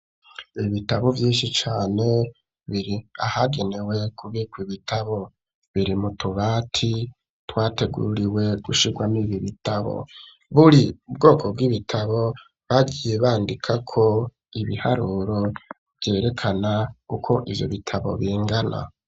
Ibitabo vyinshi cane biri ahagenewe kubika ibitabo, biri mutubati twateguriwe gushirwamwo ibitabo, buri bwoko bw'ibitabo bagiye bandikako ibiharuro ,vyerekana uko ivyo bitabo bingana.